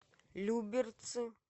люберцы